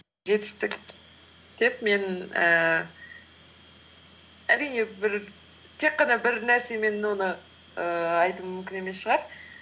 жетістік деп мен ііі әрине тек қана бір нәрсемен оны ііі айту мүмкін емес шығар